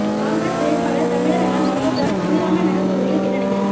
காங்கிரஸ் வேட்பாளர் தமிழரான சம்பத்ராஜ் சிவி ராமன் நகர் தொகுதியில் பின்னடைவு